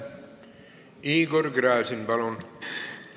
Igor Gräzin, palun!